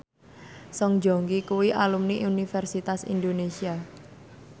Song Joong Ki kuwi alumni Universitas Indonesia